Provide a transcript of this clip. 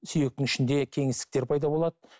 сүйектің ішінде кеңістіктер пайда болады